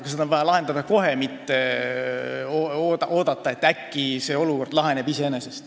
Ja seda on vaja teha kohe, mitte oodata, et äkki olukord laheneb iseenesest.